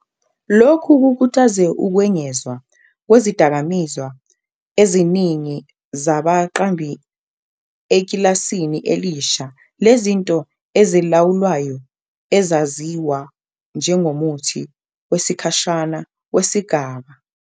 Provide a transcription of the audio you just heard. lokhu kukhuthaze ukwengezwa kwezidakamizwa eziningi zabaqambi ekilasini elisha lezinto ezilawulwayo ezaziwa njengomuthi wesikhashana wesigaba.